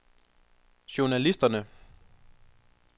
journalister